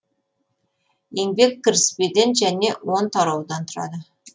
еңбек кіріспеден және он тараудан тұрады